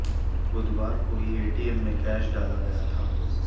बुधवार को ही एटीएम में कैश डाला गया था